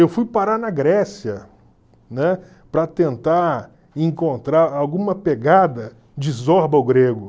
Eu fui parar na Grécia, né, para tentar encontrar alguma pegada de Zorba, o Grego.